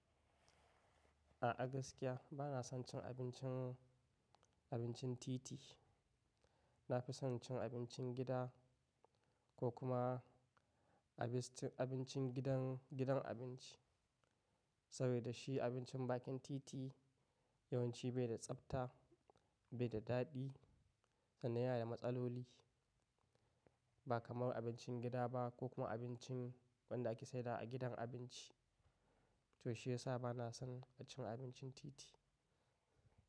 A, a gaskiya bana son cin abincin, abincin titi. Na fi son cin abincin gida ko kuma a bis-- abincin gidan, gidan abinci. Saboda shi abincin bakin titi yawanci bai da tsabta, bai da daɗi sannan ya yi matsalloli ba kamar abincin gida ba ko kuma abincin wanda aka sai dawa a gidan abinci. To shiyasa bana son cin abincin titi.